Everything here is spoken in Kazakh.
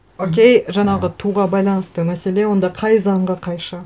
окей жаңағы туға байланысты мәселе онда қай заңға қайшы